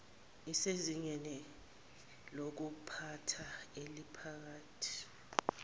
usezingeni lokuphatha eliphakathi